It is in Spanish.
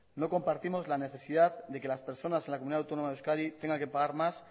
no compartimos la necesidad de que las personas en la comunidad autónoma de euskadi tengan que pagar más